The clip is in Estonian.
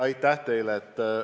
Aitäh teile!